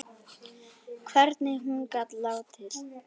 Hvernig hún gat látið.